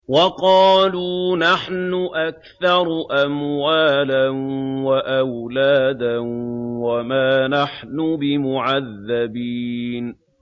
وَقَالُوا نَحْنُ أَكْثَرُ أَمْوَالًا وَأَوْلَادًا وَمَا نَحْنُ بِمُعَذَّبِينَ